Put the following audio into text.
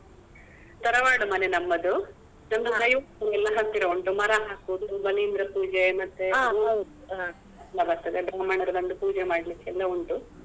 ತರವಾಡು ಮನೆ ನಮ್ಮದು ನಮ್ ದೈವ ಎಲ್ಲ ಹತ್ತಿರ ಉಂಟು ಮರ ಹಾಕುದು, ಬಲಿಂದ್ರ ಪೂಜೆ ಮತ್ತೆ ಪೂಜೆ ಎಲ್ಲ ಮಾಡ್ಲಿಕ್ಕೆ ಉಂಟು.